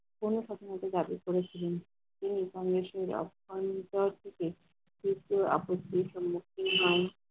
কোন কথা দাবি করেছিলেন, তিনি বাংলাদেশের অভ্যন্তর থেকে